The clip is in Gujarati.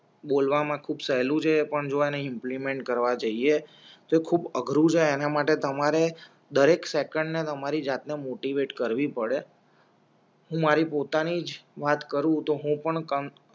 બોલવા માં ખૂબ સેલું છે પણ ઇમ્પલિમેન્ટ કરવા જઈએ તો ખૂબ અઘરું છે એના માટે તમારે દરેક સેકંડ ને તમારી જાત ને મોટિવેત કરવી પડે હું મારી પોત ની જ વાત કરું તો હું પણ કમ